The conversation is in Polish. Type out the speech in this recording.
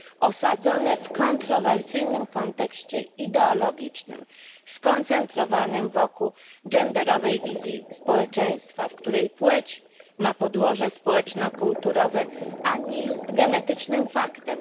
osadzone w kontrowersyjnym kontekście ideologicznym skoncentrowanym wokół genderowej wizji społeczeństwa, w której płeć ma podłoże społeczno kulturowe, a nie jest genetycznym faktem.